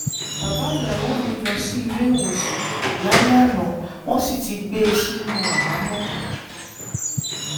bàbá ìyàwó mi lọ sí ilé ìwòsàn lálẹ́ àná wọ́n sì ti gbé e sínú àhámọ́